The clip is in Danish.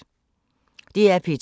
DR P2